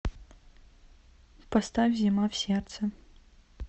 поставь зима в сердце